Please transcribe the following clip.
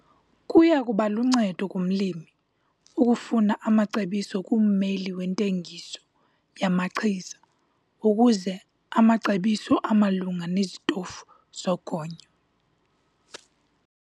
Kuya kuba luncedo kumlimi ukufuna amacebiso kummeli wentengiso yamachiza ukuze amacebiso amalunga nezitofu zogonyo.